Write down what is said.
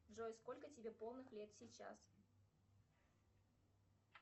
джой сколько тебе полных лет сейчас